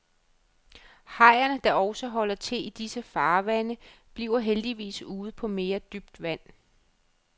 Hajerne, der også holder til i disse farvande, bliver heldigvis ude på mere dybt vand.